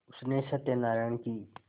उसने सत्यनाराण की